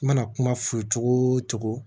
I mana kuma f'u ye cogo o cogo